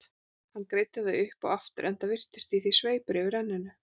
Hann greiddi það upp og aftur, enda virtist í því sveipur yfir enninu.